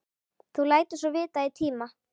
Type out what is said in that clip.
Þú lætur svo vita í tíma.